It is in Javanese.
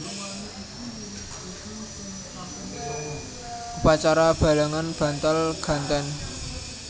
Upacara balangan bantal ganten